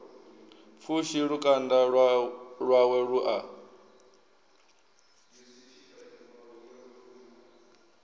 pfushi lukanda lwawe lu a